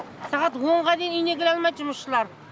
сағат онға дейін үйіне кіре алмайды жұмысшылар